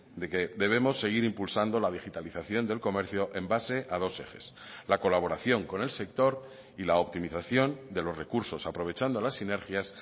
de que debemos seguir impulsando la digitalización del comercio en base a dos ejes la colaboración con el sector y la optimización de los recursos aprovechando las sinergias